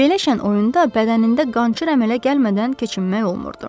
Belə şən oyunda bədənində qançır əmələ gəlmədən keçinmək olmurdu.